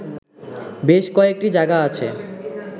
বেশ কয়েকটি জায়গা আছে